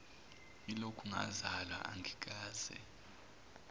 yilokhu ngazalwa angikaze